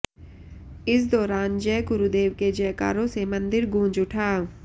इस दौरान जय गुरुदेव के जयकारों से मंदिर गूंज उठा